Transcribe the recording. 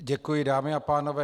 Děkuji, dámy a pánové.